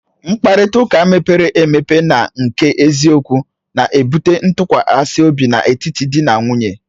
Mkparịta ụka mepere emepe na nke eziokwu na-ebute ntụkwasị obi n'etiti di na nwunye